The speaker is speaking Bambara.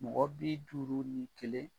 Mɔgɔ bi duuru ni kelen